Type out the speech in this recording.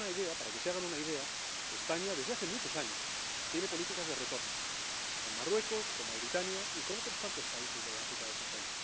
Para que se hagan una idea, España, desde hace muchos años, tiene políticas de retorno, con Marruecos, con Mauritania y con otros tantos países de África, del Sahel.